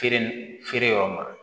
Feere feere yɔrɔ ma